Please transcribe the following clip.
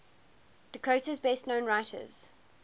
dakota's best known writers